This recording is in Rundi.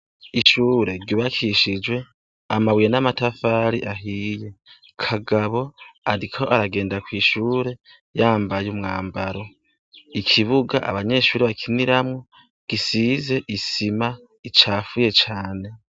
Ishure ryubakishije amabuye n'amatafari ahiye. Kagabo ariko aragenda kw'ishure yambaye umwambaro. Ikibuga abanyeshure bakiniramwo, gisize isima icafuye cane.